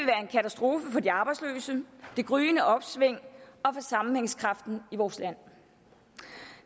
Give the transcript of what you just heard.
det de arbejdsløse det gryende opsving og for sammenhængskraften i vores land